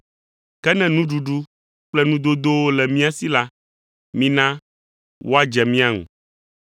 Ke ne nuɖuɖu kple nudodowo le mía si la, mina woadze mia ŋu.